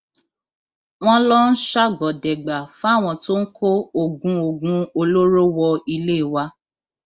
wọn lọ ń ṣàgbọdẹgbà fáwọn tó ń kó oògùn oògùn olóró wọ ilé wa